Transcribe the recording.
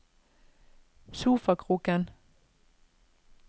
sofakroken